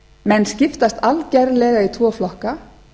menn skiptast algerlega í tvo flokka